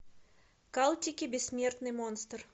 калтики бессмертный монстр